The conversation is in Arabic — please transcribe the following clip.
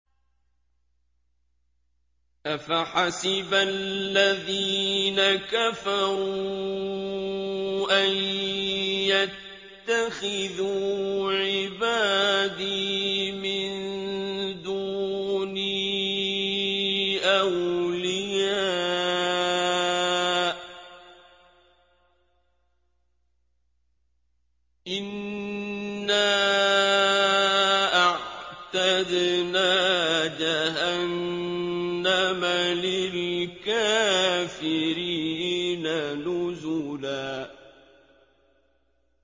أَفَحَسِبَ الَّذِينَ كَفَرُوا أَن يَتَّخِذُوا عِبَادِي مِن دُونِي أَوْلِيَاءَ ۚ إِنَّا أَعْتَدْنَا جَهَنَّمَ لِلْكَافِرِينَ نُزُلًا